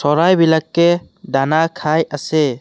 চৰাই বিলাকে দানা খাই আছে।